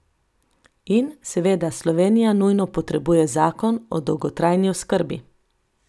In, seveda, Slovenija nujno potrebuje zakon o dolgotrajni oskrbi.